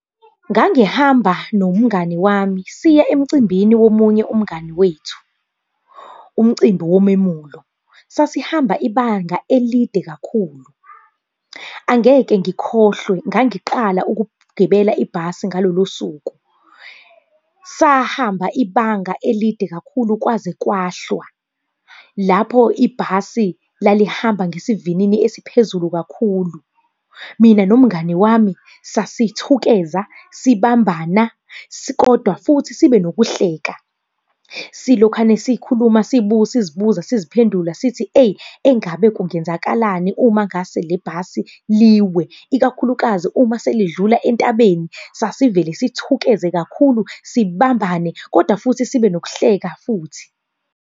Ngangihamba nomngani wami siya emcimbini womunye umngani wethu, umcimbi womemulo. Sasihamba ibanga elide kakhulu. Angeke ngikhohlwe, ngangiqala ukugibela ibhasi ngalolo suku. Sahamba ibanga elide kakhulu kwaze kwahlwa, lapho ibhasi lalihamba ngesivinini esiphezulu kakhulu. Mina nomngani wami sasithukeza, sibambana, kodwa futhi sibe nokuhlela. Silokhane sikhuluma sizibuza siziphendula, sithe eyi engabe kungenzakalani uma ngase le bhasi liwe, ikakhulukazi uma selidlula entabeni, sasivele sithukeze kakhulu sibambane kodwa futhi sibe nokuhleka futhi.